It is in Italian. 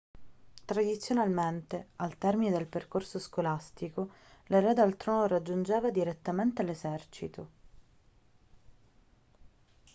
tradizionalmente al termine del percorso scolastico l'erede al trono raggiungeva direttamente l'esercito